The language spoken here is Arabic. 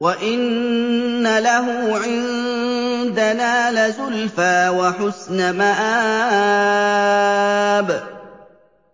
وَإِنَّ لَهُ عِندَنَا لَزُلْفَىٰ وَحُسْنَ مَآبٍ